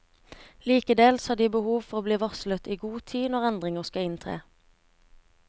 Likeledes har de behov for å bli varslet i god tid når endringer skal inntre.